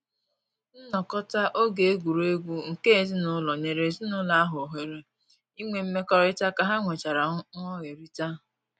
Nnọkọta oge egwuregwu nke ezinụlọ nyere ezinụlọ ahụ ohere inwe mmekọrịta ka ha nwechara nghọherita